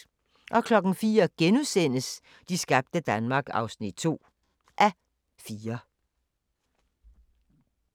04:00: De skabte Danmark (2:4)*